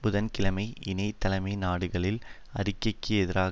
புதன் கிழமை இணை தலைமை நாடுகளின் அறிக்கைக்கு எதிரான